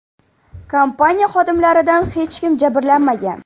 Kompaniya xodimlaridan hech kim jabrlanmagan.